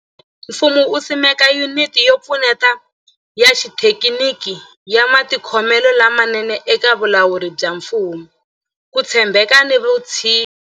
Ku nga ri khale, mfumo wu simeke Yuniti yo Pfuneta ya Xithekiniki ya Matikhomelo lamanene eka Vulawuri bya Mfumo, Ku tshembeka na Vutshinyi.